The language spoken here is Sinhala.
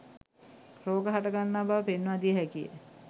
රෝග හට ගන්නා බව පෙන්වා දිය හැකිය.